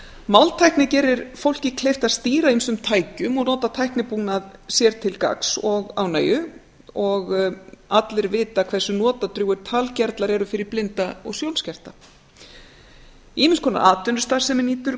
máltækni gerir fólki kleift að stýra ýmsum tækjum og nota tæknibúnað sér til gagns og ánægju og allir vita hversu notadrjúgir talgervlar eru fyrir blinda og sjónskerta ýmiss konar atvinnustarfsemi nýtur